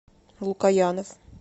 лукоянов